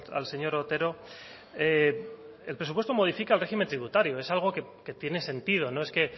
al señor otero el presupuesto modifica el régimen tributario es algo que tiene sentido no es que